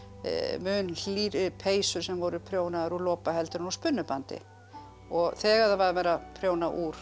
mun hlýrri peysur sem voru prjónaðar úr lopa heldur en úr spunnu bandi og þegar var verið að prjóna úr